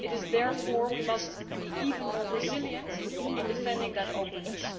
Therefore, we must be even more resilient in defending that openness.